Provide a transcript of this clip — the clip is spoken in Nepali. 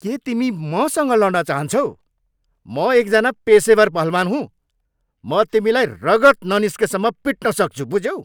के तिमी मसँग लड्न चाहन्छौ? म एकजना पेसेवर पहलवान हुँ! म तिमीलाई रगत ननिस्केसम्म पिट्न सक्छु, बुझ्यौ?